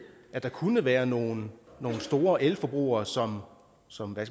at der kunne være nogle store elforbrugere som som er